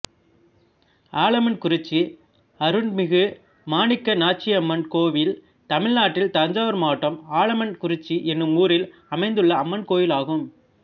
ஆலமன்குறிச்சி அருற்மிகு மாணிக்க நாச்சியம்மன் கோயில் தமிழ்நாட்டில் தஞ்சாவூர் மாவட்டம் ஆலமன்குறிச்சி என்னும் ஊரில் அமைந்துள்ள அம்மன் கோயிலாகும்